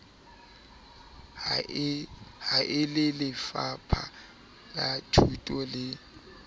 ha e lelefapha lathuto le